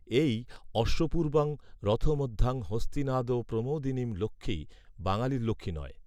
এই অশ্বপূর্বাং রথমধ্যাং হস্তিনাদ প্রমোদিনীম্ লক্ষ্মী বাঙালির লক্ষ্মী নয়